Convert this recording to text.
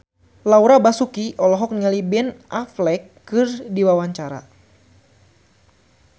Laura Basuki olohok ningali Ben Affleck keur diwawancara